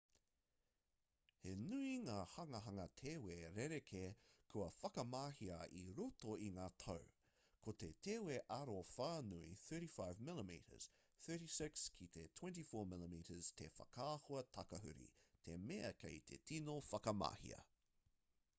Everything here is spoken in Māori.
he nui ngā hanganga tewe rerekē kua whakamahia i roto i ngā tau. ko te tewe aro whānui 35 mm 36 ki te 24 mm te whakaahua takahuri te mea kei te tino whakamahia